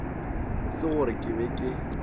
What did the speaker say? se gore ke be ke